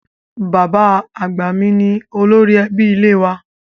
Bàbá àgbà mi ni olórí ẹbí ilé wa